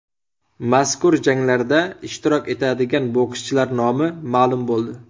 Mazkur janglarda ishtirok etadigan bokschilar nomi ma’lum bo‘ldi .